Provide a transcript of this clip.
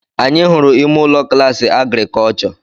Anyị hụrụ ime ụlọ klaasị Agrikọlchọ